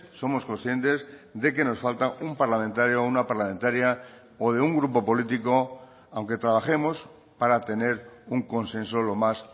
somos conscientes de que nos falta un parlamentario o una parlamentaria o de un grupo político aunque trabajemos para tener un consenso lo más